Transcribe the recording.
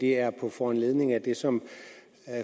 det er på foranledning af det som